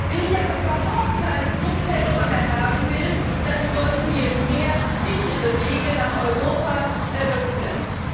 Wenn ich aber überhaupt keine Fluchthelfer mehr haben will, dann sollten wir mehr sichere Wege nach Europa eröffnen.